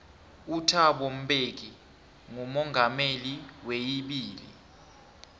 uthabo mbeki ngumongameli weibili